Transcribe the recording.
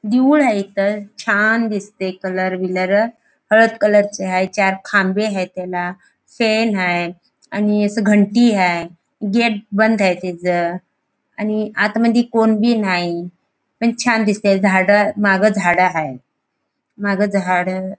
देऊळ हाय तर छान दिसते कलर बिलर हळद कलर चे हाय चार खांबे आहे त्याला शेण हाय आणि असं घंटी हाय गेट बंद हाय त्याच आणि आत मध्ये कोण बी नाही पण छान दिसते झाड माग झाड हाय. माग झाड --